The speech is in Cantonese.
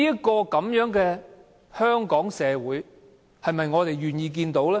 這樣的香港社會，是我們願意看到的嗎？